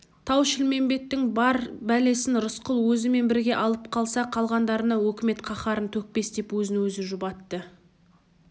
тау-шілмембеттің бар бәлесін рысқұл өзімен бірге алып қалса қалғандарына өкімет қаһарын төкпес деп өзін-өзі жұбатты